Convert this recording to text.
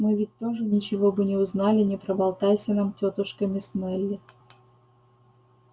мы ведь тоже ничего бы не узнали не проболтайся нам тётушка мисс мелли